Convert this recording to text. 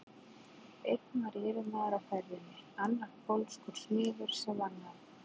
Einn var yfirmaður á ferjunni, annar pólskur smiður sem vann á